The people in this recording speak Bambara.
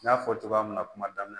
N y'a fɔ cogoya min na kuma daminɛ na